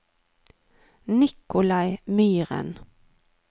Nikolai Myren